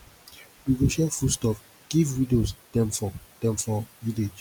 we go share food stuff give widows dem for dem for village